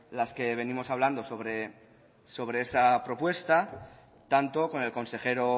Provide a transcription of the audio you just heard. las que venimos hablando sobre esa propuesta tanto con el consejero